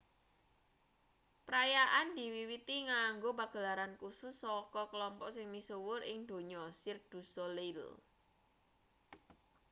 perayaane diwiwiti nganggo pagelaran kusus saka kelompok sing misuwur ing donya cirque du soleil